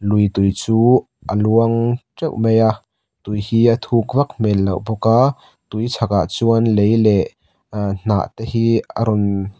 lui tui chu a luang teuh mai a tui hi a thuk vak hmel loh bawk a tui chhak ah chuan lei leh hnah te hi a rawn --